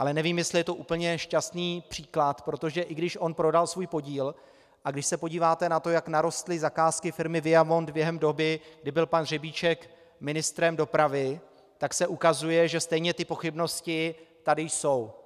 Ale nevím, jestli je to úplně šťastný příklad, protože i když on prodal svůj podíl, a když se podíváte na to, jak narostly zakázky firmy Viamont během doby, kdy byl pan Řebíček ministrem dopravy, tak se ukazuje, že stejně ty pochybnosti tady jsou.